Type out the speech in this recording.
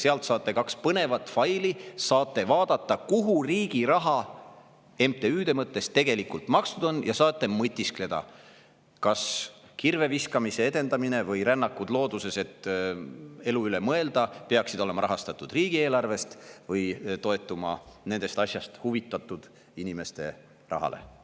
Sealt leiate kaks põnevat faili, saate vaadata, kuhu riigi raha MTÜ-de mõttes tegelikult makstud on, ja saate mõtiskleda, kas kirveviskamise edendamine või rännakud looduses, et elu üle mõelda, peaksid olema rahastatud riigieelarvest või toetuma nendest asjadest huvitatud inimeste rahale.